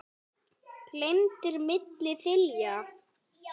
geymdir milli þilja.